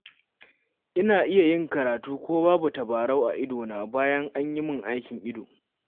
Ina iya yin karatu ko babu tabarau a idona, bayan an yi min aikin ido.